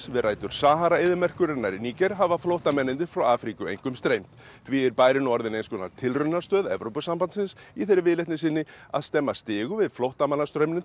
við rætur Sahara eyðimerkurinnar í Níger hafa flóttamennirnir frá Afríku einkum streymt því er bærinn nú orðinn eins konar tilraunastöð Evrópusambandsins í þeirri viðleitni að stemma stigu við flóttamannastraumnum